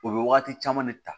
O bɛ wagati caman de ta